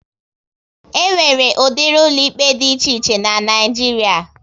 E nwere udiri ụlọ ikpe dị iche iche n'Naijiria